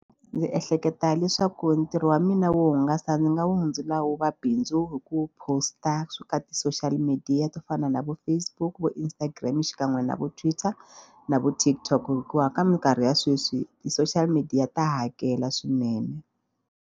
Ndzi ehleketa leswaku ntirho wa mina wo hungasa ni nga wu hundzula wu va bindzu hi ku post-a swi ka ti-social media to fana na vo Facebook, vo Instagram xikan'we na vo Twitter na vo TikTok hikuva ka mikarhi ya sweswi ti-social media ta hakela swinene.